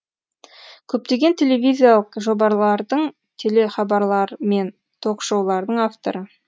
көптеген телевизиялық жобарлардың телехабарлар мен ток шоулардың авторы